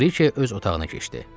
Brike öz otağına keçdi.